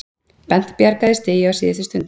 Bent bjargaði stigi á síðustu stundu